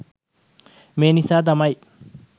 මේ නිසා තමයි